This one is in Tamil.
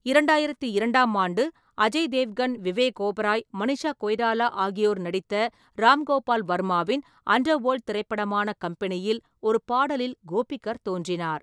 இரண்டாயிரத்து இரண்டாம் ஆண்டு அஜய் தேவ்கன், விவேக் ஓபராய், மனிஷா கொய்ராலா ஆகியோர் நடித்த ராம் கோபால் வர்மாவின் அண்டர்வேல்ட் திரைப்படமான கம்பெனியில் ஒரு பாடலில் கோபிக்கர் தோன்றினார்.